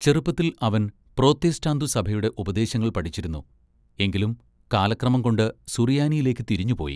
ചെറുപ്പത്തിൽ അവൻ പ്രോത്തെസ്റ്റാന്തു സഭയുടെ ഉപദേശങ്ങൾ പഠിച്ചിരുന്നു എങ്കിലും കാലക്രമംകൊണ്ട്‌ സുറിയാനിയിലേക്ക്‌ തിരിഞ്ഞുപോയി.